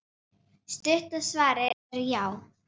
Stutta svarið er já!